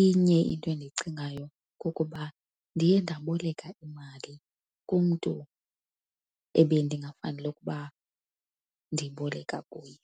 inye into endiyicingayo kukuba ndiye ndaboleka imali kumntu ebendingafanele ukuba ndiyiboleka kuye.